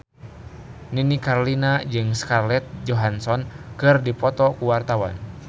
Nini Carlina jeung Scarlett Johansson keur dipoto ku wartawan